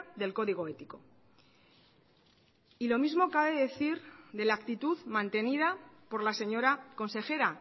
del código ético y lo mismo cabe decir de la actitud mantenida por la señora consejera